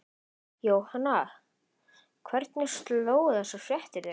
Jóhanna, hvernig slógu þessar fréttir þig?